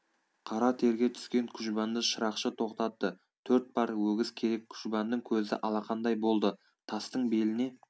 қара терге түскен күжбанды шырақшы тоқтатты төрт пар өгіз керек күжбанның көзі алақандай болды тастың беліне